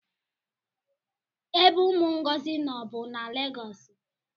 ebe umu Ngozi no bu na Legosi